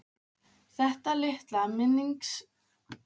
Þetta litla minningarbrot segir ákveðna sögu um ástandið.